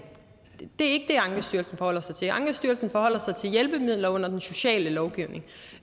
det er ankestyrelsen forholder sig til ankestyrelsen forholder sig til hjælpemidler under den sociale lovgivning